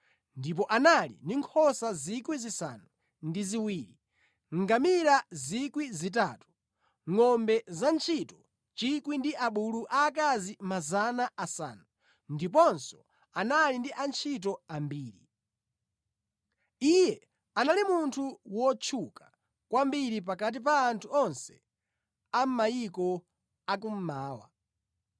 ndipo anali ndi nkhosa 7,000, ngamira 3,000, ngʼombe zantchito 1,000 ndi abulu aakazi 500, ndiponso anali ndi antchito ambiri. Iye anali munthu wotchuka kwambiri pakati pa anthu onse a mʼmayiko a kummawa.